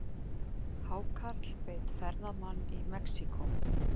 Hákarl beit ferðamann í Mexíkó